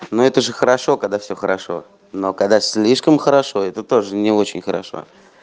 но это же хорошо когда все хорошо но когда слишком хорошо это тоже не очень хорошо